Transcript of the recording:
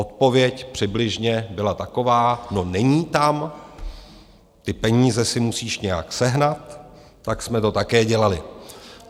Odpověď přibližně byla taková: no, není tam, ty peníze si musíš nějak sehnat, tak jsme to také dělali.